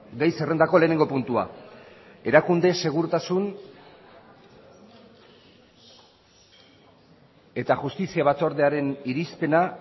gai zerrendako lehenengo puntua erakunde segurtasun eta justizia batzordearen irizpena